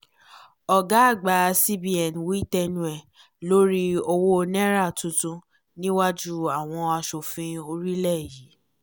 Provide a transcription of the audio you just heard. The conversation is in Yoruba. ọ̀gá àgbà cbn wí tẹnu ẹ̀ lórí owó náírà tuntunniwájú àwọn asòfin orílẹ̀ yìí